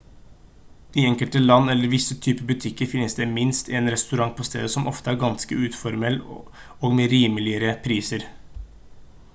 i enkelte land eller i visse type butikker finnes det minst en restaurant på stedet som ofte er ganske uformell og med rimeligere priser